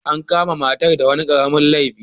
An kama matar da wani karamin laifi.